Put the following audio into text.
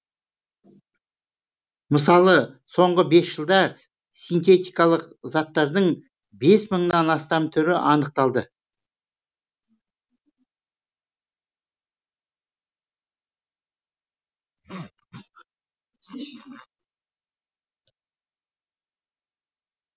мысалы соңғы бес жылда синтетикалық заттардың бес мыңнан астам түрі анықталды